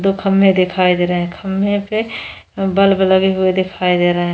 दो खंबे दिखाई दे रहे हैं खंबे पे बल्ब लगे हुए दिखाई दे रहे हैं।